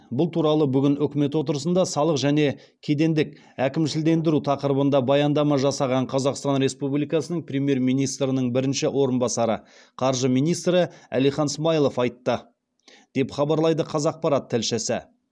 бұл туралы бүгін үкімет отырысында салық және кедендік әкімшілендіру тақырыбында баяндама жасаған қазақстан республикасының премьер министрінің бірінші орынбасары қаржы министрі әлихан смайылов айтты деп хабарлайды қазақпарат тілшісі